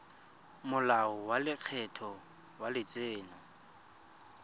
molao wa lekgetho wa letseno